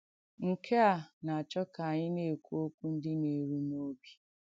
Nkè à nà-àchọ̀ kà ànyị̣ nà-èkwù òkwù ndí nà-èrù n’òbì.